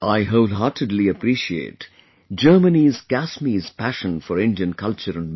I wholeheartedly appreciate Germany's Kasmi's passion for Indian culture and music